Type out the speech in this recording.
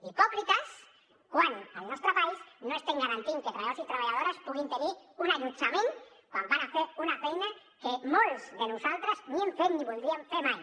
hipòcrites quan al nostre país no estem garantint que treballadors i treballadores puguin tenir un allotjament quan van a fer una feina que molts de nosaltres ni hem fet ni voldríem fer mai